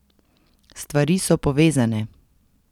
Stvari so povezane.